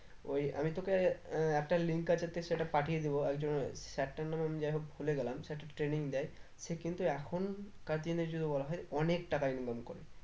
ওই আমি তোকে আহ একটা link আছে তো সেটা পাঠিয়ে দেব একজনের sir টার নাম আমি যাই হোক ভুলে গেলাম sir টা training দেয় সে কিন্তু এখন কার জিনিস যদি বলা হয় অনেক টাকা income করে